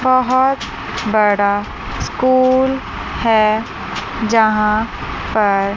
बहुत बड़ा स्कूल है जहां पर --